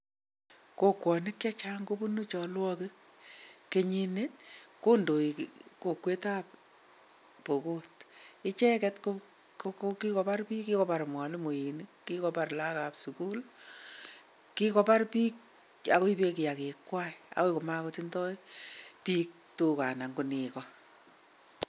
Kokwonik che chang kobunu chalwokik, kenyini kondoi kokwetab Pokot, icheket ko kikobar piik, kikobar mwalimoinik, kikobar lagokab sukul, kikobar piik ak koibe kiakikwai agoi ko makotindoi piik tuga anan ko nego.